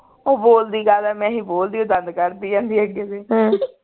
ਉਹ ਬੋਲਦੀ ਕਾਹਦਾ ਮੈਂ ਹੀ ਬੋਲਦੀ ਉਹ ਦੰਦ ਕੱਢਦੀ ਰਹਿੰਦੀ ਅੱਗੇ ਤੇ